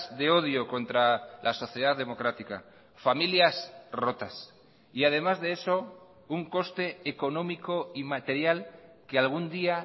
de odio contra la sociedad democrática familias rotas y además de eso un coste económico y material que algún día